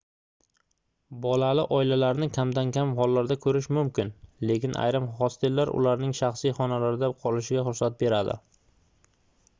bolali oilalarni kamdan-kam hollarda koʻrish mumkin lekin ayrim hostellar ularning shaxsiy xonalarda qolishiga ruxsat beradi